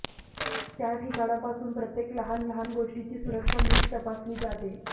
त्याठिकाणापासून प्रत्येक लहान लहान गोष्टीची सुरक्षा नीट तपासली जाते